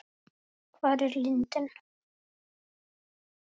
Hvar er lindin?